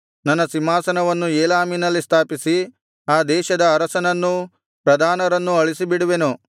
ನನ್ನ ಸಿಂಹಾಸನವನ್ನು ಏಲಾಮಿನಲ್ಲಿ ಸ್ಥಾಪಿಸಿ ಆ ದೇಶದ ಅರಸನನ್ನೂ ಪ್ರಧಾನರನ್ನೂ ಅಳಿಸಿಬಿಡುವೆನು